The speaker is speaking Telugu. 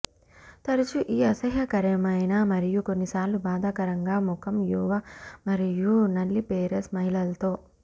తరచూ ఈ అసహ్యకరమైన మరియు కొన్నిసార్లు బాధాకరంగా ముఖం యువ మరియు నల్లిపేరస్ మహిళలతో